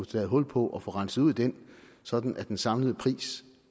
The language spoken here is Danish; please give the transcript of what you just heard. taget hul på at få renset ud i den sådan at den samlede pris